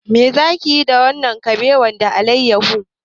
Me za ki yi da wannan kabewa da alayyahu?